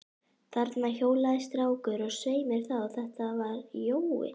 Þarna hjólaði strákur, og svei mér þá, þetta var Jói.